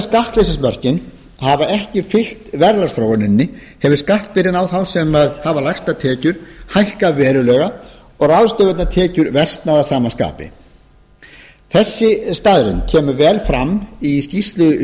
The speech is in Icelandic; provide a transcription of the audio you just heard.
skattleysismörkin hafa ekki fylgt verðlagsþróuninni hefur skattbyrðin á þá sem hafa lægstar tekjur hækkað verulega og ráðstöfunartekjur versnað að sama skapi þessi staðreynd kemur vel fram í skýrslu